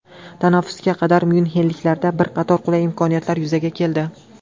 Tanaffusga qadar myunxenliklarda bir qator qulay imkoniyatlar yuzaga keldi.